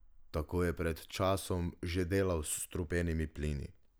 Tako je pred časom že delal s strupenimi plini.